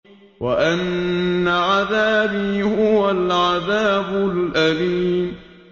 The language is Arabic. وَأَنَّ عَذَابِي هُوَ الْعَذَابُ الْأَلِيمُ